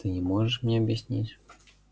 ты не можешь мне объяснить